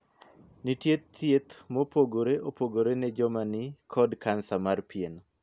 Nitie thieth mopore opogore ne joma ni kod Kansa mar pien.